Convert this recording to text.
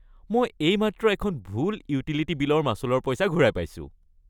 মই এইমাত্ৰ এখন ভুল ইউটিলিটি বিলৰ মাচুলৰ পইচা ঘূৰাই পাইছোঁ।